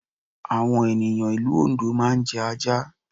Àwọn ènìyàn ìlú Oǹdó máa jẹ ajá